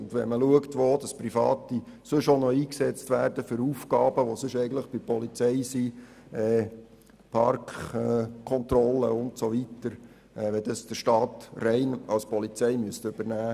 Und schaut man, für welche Aufgaben, die sonst eigentlich bei der Polizei liegen, Private sonst noch eingesetzt werden – wie zum Beispiel Parkkontrollen –, dann müssten Sie sich über Folgendes Gedanken machen: